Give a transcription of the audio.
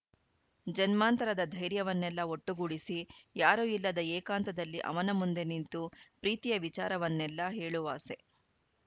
ಜನ್ಮಾಂತರದ ಧೈರ್ಯವನ್ನೆಲ್ಲಾ ಒಟ್ಟುಗೂಡಿಸಿ ಯಾರೂ ಇಲ್ಲದ ಏಕಾಂತದಲ್ಲಿ ಅವನ ಮುಂದೆ ನಿಂತು ಪ್ರೀತಿಯ ವಿಚಾರವನ್ನೆಲ್ಲಾ ಹೇಳುವಾಸೆ